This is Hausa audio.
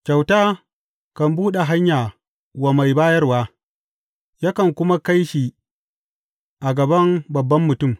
Kyauta kan buɗe hanya wa mai bayarwa yakan kuma kai shi a gaban babban mutum.